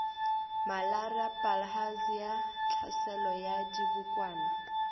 malaria bilharzia tlhaselo ya dibokwana